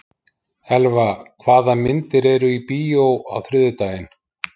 Elva, hvaða myndir eru í bíó á þriðjudaginn?